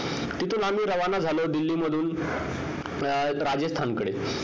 तिथून आम्ही रवाना झालो दिल्लीमधून राजस्थानकडे